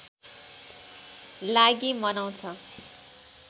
लागि मनाउँछ